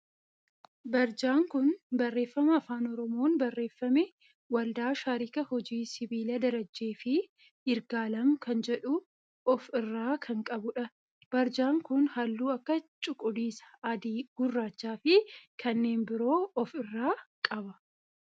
Barjaan kun barreeffama afaan oromoon barreeffame waldaa sharikaa hojii sibiilaa Darajjee fi Yirgaalem kan jedhu of irraa kan qabudha. Barjaan kun halluu akka cuquliisa, adii, gurraachaa fi kanneen biroo of irraa qaba.